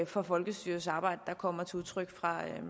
for folkestyrets arbejde der kommer til udtryk fra